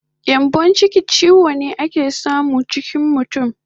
Gyambon chiki chiwo ne ake samu chikin mutun